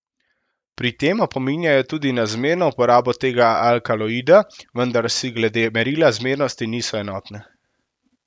Pri tem opominjajo tudi na zmerno uporabo tega alkaloida, vendar si glede merila zmernosti niso enotne.